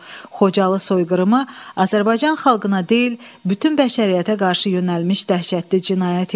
Xocalı soyqırımı Azərbaycan xalqına deyil, bütün bəşəriyyətə qarşı yönəlmiş dəhşətli cinayət idi.